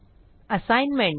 assignment